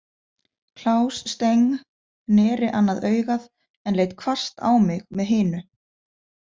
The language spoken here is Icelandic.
Klaus Steng neri annað augað en leit hvasst á mig með hinu.